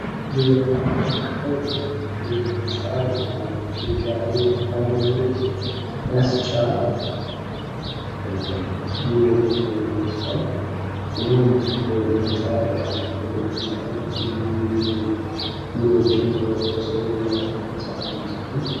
እዚህ ላይ የምንመለከተው ትልቅ ህንፃ የኢትዮጵያ ኤሌክትሪክ አገልግሎት መስጫ ቢሮ ይመስላል ።ይህም ህንፃ በጣም ትልቅ ህንፃ ነው። ልዩ ቢሮዎችን በስሩ የያዘ ህንፃ ይመስላል ።